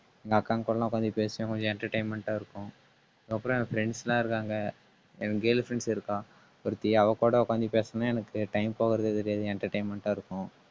எங்க அக்கா கூட எல்லாம் உட்கார்ந்து பேசுவேன் கொஞ்சம் entertainment ஆ இருக்கும். அப்புறம் என் friends எல்லாம் இருக்காங்க. எனக்கு girl friends இருக்கான் ஒருத்தி அவ கூட உக்காந்து பேசுனா எனக்கு time போறதே தெரியாது. entertainment ஆ இருக்கும்